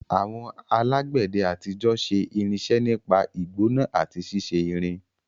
Àwọn alágbẹ̀dẹ àtijọ́ ṣe irinṣẹ́ nípa ìgbóná àti ṣíṣe irin.